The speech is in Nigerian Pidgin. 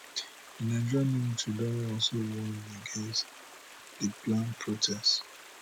di nigerian military don also warn against di planned protest